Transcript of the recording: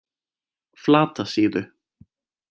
Flatasíðu